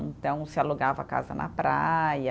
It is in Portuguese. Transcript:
Então, se alugava casa na praia,